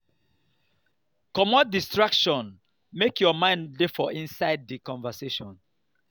comot distraction make your mind dey for inside di conversation